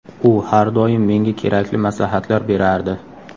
U har doim menga kerakli maslahatlar berardi.